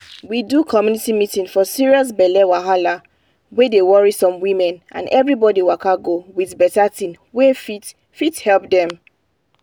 we do community meeting for serious belle wahala wey dey worry some women and everybody waka go with better thing wey fit fit help dem.